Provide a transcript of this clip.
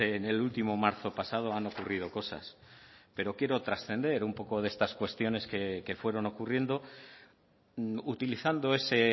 en el último marzo pasado han ocurrido cosas pero quiero trascender un poco de estas cuestiones que fueron ocurriendo utilizando ese